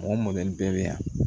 Mɔgɔ mɔ bɛɛ bɛ yan